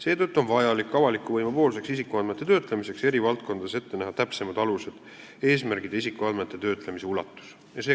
Seetõttu on vaja selleks, et avalik võim saaks isikuandmeid töödelda, näha eri valdkondades ette täpsemad alused, eesmärgid ja isikuandmete töötlemise ulatus.